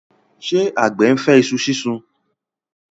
ṣe àgbẹ̀ ńfẹ iṣu sísun?